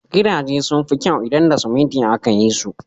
Gidaje sun fi kyau idan da siminti aka ti su.